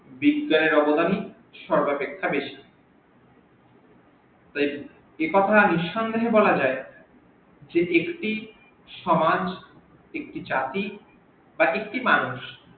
বিজ্ঞানের অবদান সর্বাপেক্ষা বেশি একথা নিসন্দেহে বলা যাই যে একটি চাকি বা একটি মানুষ